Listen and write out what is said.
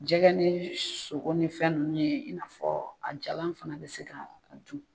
Jɛgɛ ni sogo ni fɛn ninnu nin i n'a fɔ a jalan fana bɛ se ka a dun.